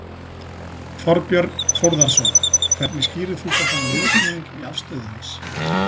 Þorbjörn Þórðarson: Hvernig skýrir þú þá þennan viðsnúning í afstöðu hans?